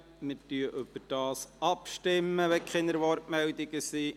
Wir stimmen darüber ab, sofern es keine Wortmeldungen mehr gibt.